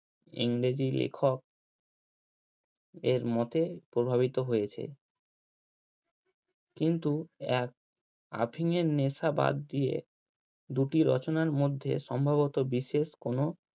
ইংরেজি লেখক এর মতে প্রভাবিত হয়েছে। কিন্তু এক অফিনের নেশা বাদ দিয়ে দুটি রচনার মধ্যে সম্ভবত বিশেষ কোনো